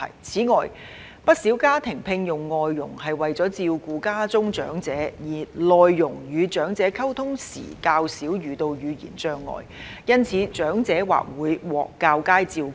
此外，不少家庭聘用外傭是為了照顧家中長者，而內傭與長者溝通時較少遇到語言障礙，因此長者或會獲較佳照顧。